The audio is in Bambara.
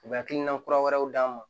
U bɛ hakilina kura wɛrɛw d'a ma